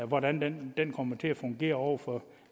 hvordan det kommer til at fungere over for